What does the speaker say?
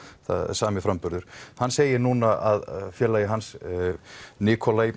sami framburður hann segir núna að félagi hans